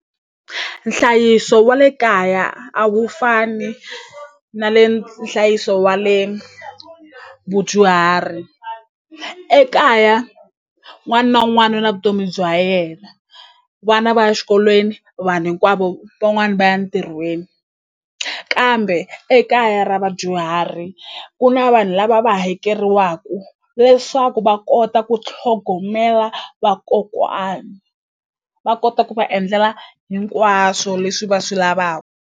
Nhlayiso wa le kaya a wu fani na le nhlayiso wa le vudyuhari ekaya un'wani na un'wani u na vutomi bya yena vana va ya xikolweni vanhu hinkwavo van'wani va ya ntirhweni kambe ekaya ra vadyuhari ku na vanhu lava va hakeriwaku leswaku va kota ku tlhogomela vakokwani va kota ku va endlela hinkwaswo leswi va swi .